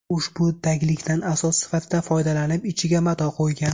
U ushbu taglikdan asos sifatida foydalanib, ichiga mato qo‘ygan.